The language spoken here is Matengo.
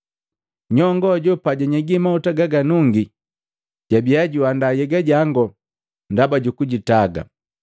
Nyongo ajo pajanyegi mahuta gaganungi jabiya juandaa nhyega jango ndaba jukujitaga.